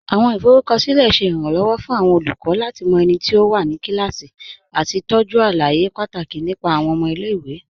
Awọn ifọrúkọsilẹ̀ ṣẹ́ iránlọwọ̀ fún awọn olùkọ̀ lati mọ ẹ̀niti ó wà ní kílásí àti tọ́jú alàyè pátákì nípa awọn ọmọ ilẹ̀-ìwé.